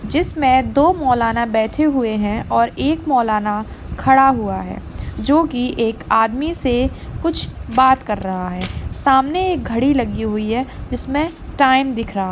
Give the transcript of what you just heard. जिसमे दो मोलाना बेठे हुए है और एक मोलाना खडा हुआ है जो की एक आदमी से कुछ बात कर रहा है सामने एक घड़ी लगी हुई है जिसमे टाइम दिख रहा है।